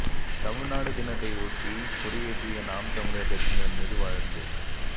தமிழ்நாடு தினத்தை ஒட்டி கொடியேற்றிய நாம் தமிழா் கட்சியினா் மீது வழக்கு